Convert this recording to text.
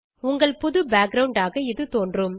உங்கள் புது பேக்கிரவுண்ட் ஆக இது தோன்றும்